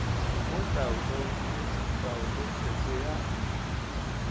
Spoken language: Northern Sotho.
mo taolong le taolopheko ya